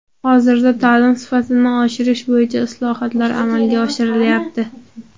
Hozirda ta’lim sifatini oshirish bo‘yicha islohotlar amalga oshirilyapti.